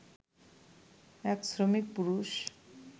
এক শ্রমিক-পুরুষ